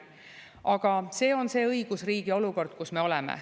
Aga see on see õigusriigi olukord, kus me oleme.